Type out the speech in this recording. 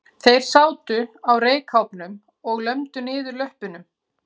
Þeir sátu á reykháfnum og lömdu niður löppunum.